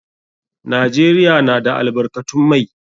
Najeriya na da albarkatun mai.